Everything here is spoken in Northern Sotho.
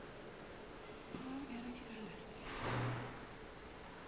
gomme o ile ge a